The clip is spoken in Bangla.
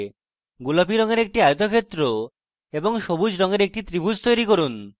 গোলাপী রঙের একটি আয়তক্ষেত্র এবং সবুজ রঙের একটি ত্রিভুজ তৈরী করুন